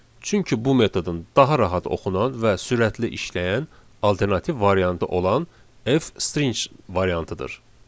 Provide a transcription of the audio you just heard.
Çünki bu metodun daha rahat oxunan və sürətli işləyən alternativ variantı olan F string variantıdır.